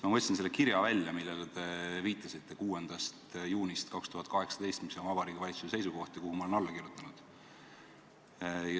Ma võtsin välja selle kirja, millele te viitasite – Vabariigi Valitsuse seisukoht 6. juunist 2018, kuhu ma olen alla kirjutanud.